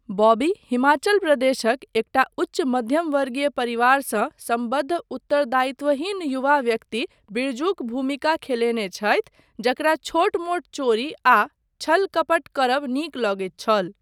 बॉबी हिमाचल प्रदेशक एकटा उच्च मध्यम वर्गीय परिवारसँ सम्बद्ध उत्तरदायित्वहीन युवा व्यक्ति बिरजूक भूमिका खेलेने छथि जकरा छोट मोट चोरी आ छल कपट करब नीक लगैत छल।